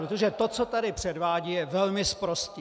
Protože to, co tady předvádí, je velmi sprosté!